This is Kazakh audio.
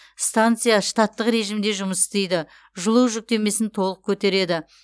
станция штаттық режимде жұмыс істейді жылу жүктемесін толық көтереді